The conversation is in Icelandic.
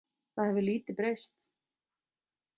Það hefur lítið breyst.